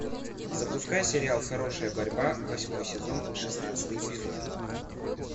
запускай сериал хорошая борьба восьмой сезон шестнадцатый эпизод